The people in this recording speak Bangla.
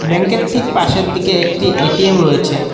ব্যাঙ্ক -এর ঠিক পাশের দিকে একটি এ_টি_এম রয়েছে।